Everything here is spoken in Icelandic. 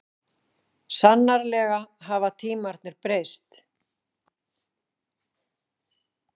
Sannarlega hafa tímarnir breyst.